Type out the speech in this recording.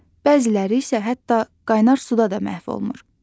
Bəziləri isə hətta qaynar suda da məhv olmur.